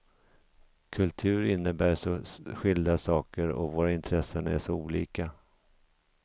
Kultur innebär så skilda saker och våra intressen är så olika.